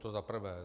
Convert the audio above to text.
To za prvé.